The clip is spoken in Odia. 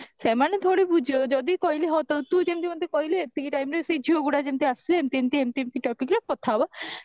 ସେମାନେ ଥୋଡି ବୁଝିବେ ଯଦି କହିଲି ହଉ ତୁ ଯେମତି ମତେ କହିଲୁ ଏତିକି timeରେ ସେଇ ଝିଅଗୁଡା ଯେମିତି ଆସିବେ ଏମତି ଏମତି ଏମତି ଏମତି କଥା ହବ